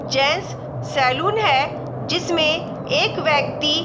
gents salon है जिसमें एक व्यक्ति --